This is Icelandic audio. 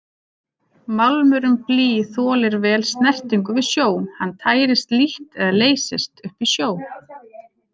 Málmurinn blý þolir vel snertingu við sjó, hann tærist lítt eða leysist upp í sjó.